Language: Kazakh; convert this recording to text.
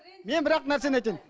мен бір ақ нәрсені айтайын